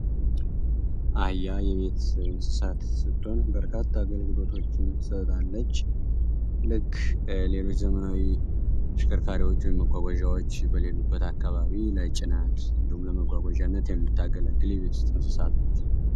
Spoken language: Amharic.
አህያ የቤት እንስሳት ስትሆን በርካታ አገልግሎቶችን ትሰጣለች ልክ ሌሎች ዘመናዊ ተሽከርካሪዎች በሌሉበት አካባቢ ለጭነት እንዲሁም ለመጓጓዣትተ የምታገለግል የቤት እንስሳ ነች።